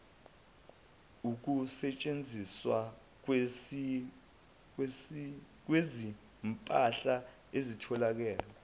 ukusetshenziswa kwezimpahla ezithile